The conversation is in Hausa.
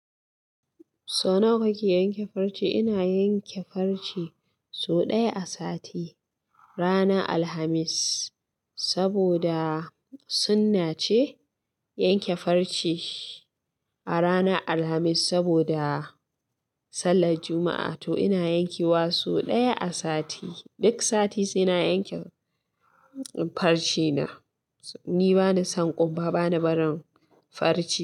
So nawa kake yanke farce? Ina yanke farce so ɗaya a sati, ranar Alhamis. Saboda sunna ce yanke farce a ranar Alhamis saboda sallar Juma'a. To ina yankewa so ɗaya a sati. Duk sati sai na yanke farce na ni bani son kumba bani barin farce.